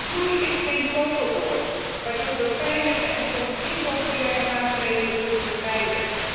Groei is geen toverwoord waardoor we pijnlijke en soms impopulaire maatregelen kunnen vermijden.